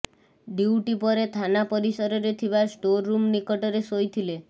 duty ପରେ ଥାନା ପରିସରରେ ଥିବା ଷ୍ଟୋର ରୁମ୍ ନିକଟରେ ଶୋଇଥିଲେ